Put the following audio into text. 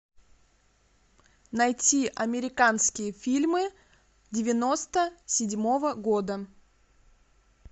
найти американские фильмы девяносто седьмого года